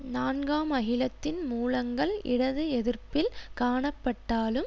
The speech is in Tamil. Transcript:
நான்காம் அகிலத்தின் மூலங்கள் இடது எதிர்ப்பில் காணப்பட்டாலும்